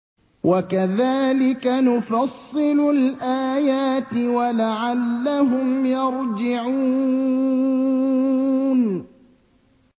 وَكَذَٰلِكَ نُفَصِّلُ الْآيَاتِ وَلَعَلَّهُمْ يَرْجِعُونَ